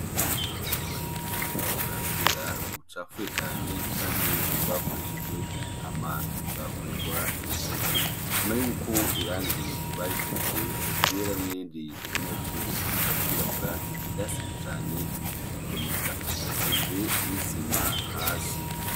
Ubwiherero ubona yuko ari ubwa kera bucafuye cane canke bwakoreshejwe hama ntibwakorerwa isuku, ubona yuko irangi barisize ryera n'irindi ubona yuko rishaka kwirabura vyasivye cane ritakiboneka, hasize n'isima hasi.